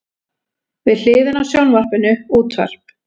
Við hliðina á sjónvarpinu útvarp.